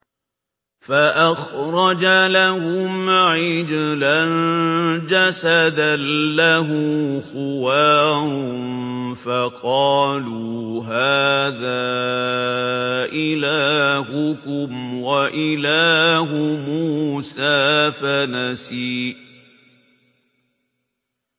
فَأَخْرَجَ لَهُمْ عِجْلًا جَسَدًا لَّهُ خُوَارٌ فَقَالُوا هَٰذَا إِلَٰهُكُمْ وَإِلَٰهُ مُوسَىٰ فَنَسِيَ